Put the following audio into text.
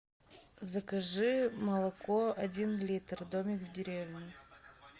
закажи молоко один литр домик в деревне